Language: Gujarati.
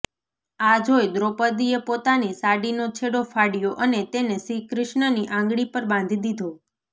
આ જોઈ દ્રોપદીએ પોતાની સાડીનો છેડો ફાડ્યો અને તેને શ્રીકૃષ્ણની આંગળી પર બાંધી દીધો